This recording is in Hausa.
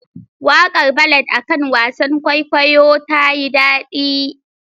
Waƙar ballad akan wasan kwaikwayo tayi dadi.